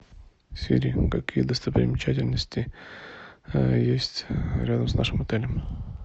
сири какие достопримечательности есть рядом с нашим отелем